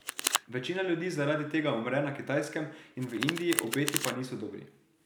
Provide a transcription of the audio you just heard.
Večina ljudi zaradi tega umre na Kitajskem in v Indiji, obeti pa niso dobri.